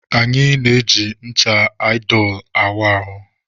Anyị na-eji ncha aịdolu awụ ahụ.